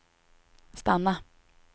stanna